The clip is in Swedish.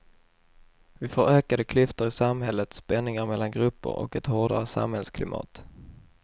Vi får ökade klyftor i samhället, spänningar mellan grupper och ett hårdare samhällsklimat.